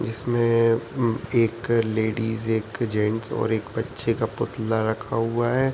जिसमें उम्म एक लेडीज एक जेंट्स और एक बच्चे का पुतला रखा हुआ है।